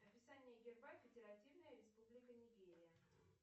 описание герба федеративная республика нигерия